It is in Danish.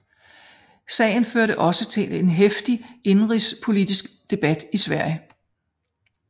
Sagen førte også til en heftig indenrigspolitisk debat i Sverige